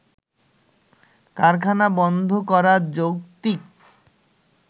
কারখানা বন্ধ করা যৌক্তিক